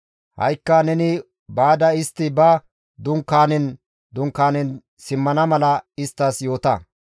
Ha7ikka neni baada istti ba dunkaanen dunkaanen simmana mala isttas yoota.